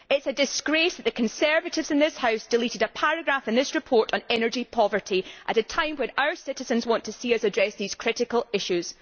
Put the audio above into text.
It is a disgrace that the Conservatives in this House deleted a paragraph in this report on energy poverty, at a time when our citizens want to see us address these critical issues.